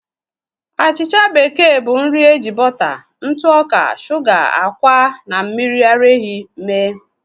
Achịcha bekee bụ nri eji bọta, ntụ ọka, shuga, ákwà, na mmiri ara ehi mee.